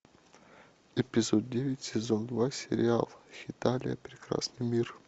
эпизод девять сезон два сериал хеталия прекрасный мир